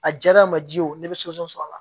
A diyara a ma ji ye o ne bɛ sɔrɔ a la